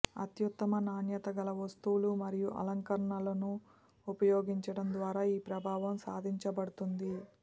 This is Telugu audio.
అత్యుత్తమ నాణ్యత గల వస్తువులు మరియు అలంకరణలను ఉపయోగించడం ద్వారా ఈ ప్రభావం సాధించబడుతుంది